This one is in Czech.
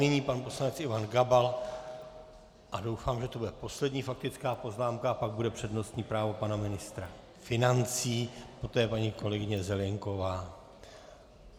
Nyní pan poslanec Ivan Gabal a doufám, že to bude poslední faktická poznámka a pak bude přednostní právo pana ministra financí, poté paní kolegyně Zelienková.